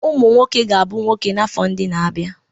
Ụmụ nwoke ga-abụ nwoke n'afọ ndị na-abịa